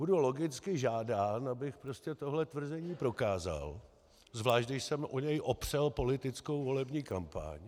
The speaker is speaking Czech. Budu logicky žádán, abych prostě tohle tvrzení prokázal, zvlášť když jsem o něj opřel politickou volební kampaň.